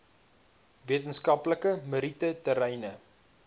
wetenskaplike meriete terreine